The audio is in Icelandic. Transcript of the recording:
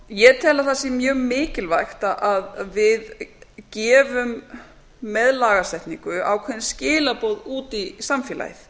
ég tel að það sé mjög mikilvægt að við gefum meðlagasetningu ákveðin skilaboð út í samfélagið